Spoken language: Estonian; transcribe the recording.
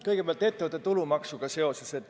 Kõigepealt ettevõtte tulumaksust.